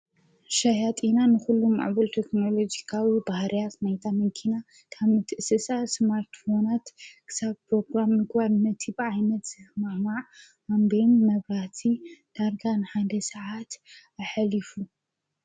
ሻያጢና ንዂሉ ማዕቡል ተክንሎጅካዊ ብህርያስ ናይታ መንኪና ካም ትእስሳ ሰማርትፎናት ክሳብ ጵሮግራም ንጐር ነቲ በዓይነት ማዕዋዕ ኣንቢን መብራቲ ዳርጋን ሓንደ ሰዓት ኣኅሊፉ